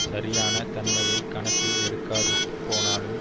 சரியான தன்மையை கணக்கில் எடுக்காது போனாலும்